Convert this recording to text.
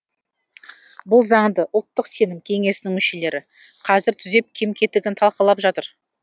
бұл заңды ұлттық сенім кеңесінің мүшелері қазір түзеп кем кетігін талқылап жатыр